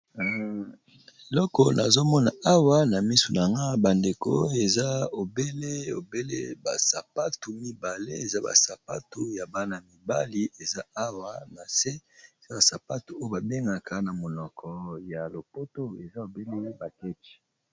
Eloko nazomona awa na misu na nga bandeko eza obele obele ba sapatu mibale eza ba sapatu ya bana mibali eza awa na se eza ba sapatu oyo babengaka na monoko ya lopoto eza obele ba ketch